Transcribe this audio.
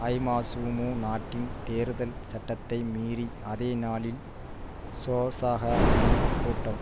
ஐமசுமு நாட்டின் தேர்தல் சட்டத்தை மீறி அதே நாளில் சோசக வின் கூட்டம்